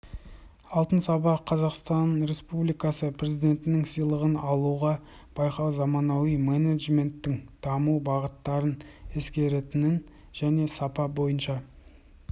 алтын сапа қазақстан республикасы президентінің сыйлығын алуға байқау заманауи менеджменттің даму бағыттарын ескеретін және сапа бойынша